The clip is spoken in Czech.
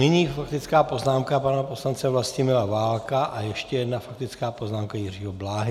Nyní faktická poznámka pana poslance Vlastimila Válka a ještě jedna faktická poznámka Jiřího Bláhy.